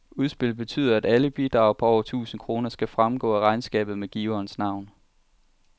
Udspillet betyder, at alle bidrag på over tusind kroner skal fremgå af regnskabet med giverens navn.